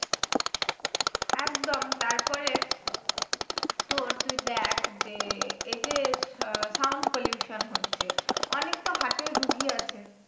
একদম তারপরে তোর তুই দেখ যে এইযে আহ sound pollution হচ্ছে অনেক তো heart এর রোগী আছে